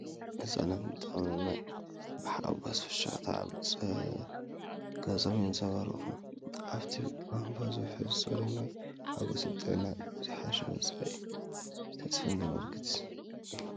ህጻናት ንጥቕሚ ማይ ብሓጎስን ፍሽኽታን ኣብ ገጾም የንጸባርቑ። ካብቲ ቧንቧ ዝውሕዝ ጽሩይ ማይ፡ ሓጐስን ጥዕናን ዝሓሸ መጻኢ ተስፋን ዘመልክት እዩ።